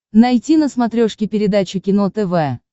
найти на смотрешке передачу кино тв